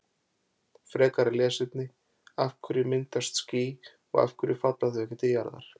Frekara lesefni: Af hverju myndast ský og af hverju falla þau ekki til jarðar?